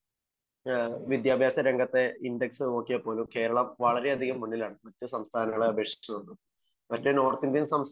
വിദ്യാഭാസ രംഗത്തെ ഇൻഡക്സ് നോക്കിയാൽപ്പോലും കേരളം വളരെ അധികം മുൻപിൽ ആണ്. മറ്റു നോർത്ത് ഇന്ത്യൻ സംസ്ഥാനങ്ങളെ അപേക്ഷിച്ചു